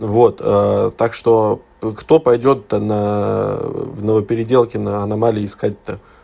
вот так что кто пойдёт то на в ново-переделкино аномалии искать то